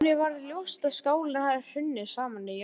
Henni varð ljóst að skálinn hafði hrunið saman í jarðskjálftunum.